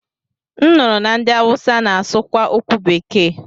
M nụrụ na ndị Awụsa na-asụ kwa okwu bekee.